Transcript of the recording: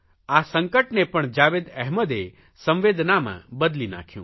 આ સંકટને પણ જાવેદ અહેમદે સંવેદનામાં બદલી નાંખ્યું